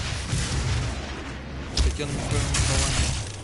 татьяна михайловна кованева